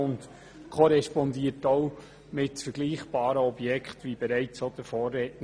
Wie bereits der Vorredner sagte, korrespondiert der Zins auch mit vergleichbaren Objekten.